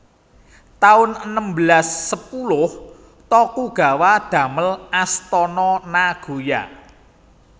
taun enem belas sepuluh Tokugawa damel Astana Nagoya